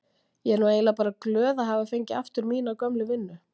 Ég er nú eiginlega bara glöð að hafa fengið aftur mína gömlu vinnu.